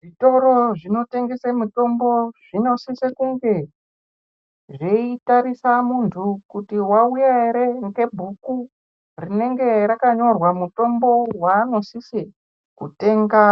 Zvitoro zvinotengese mithombo zvinosise kunge zveitarisa munthu kuti wauya ere ngebhuku rinenge rakanyorwa muthombo waanosise kutenga